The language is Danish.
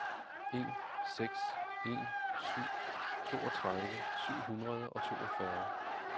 en seks en syv toogtredive syv hundrede og toogfyrre